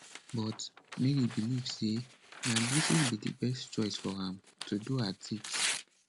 but mary believe say na braces be di best choice for am to do her teeth